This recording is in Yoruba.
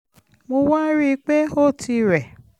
mo wá rí i pé ó ti rẹ̀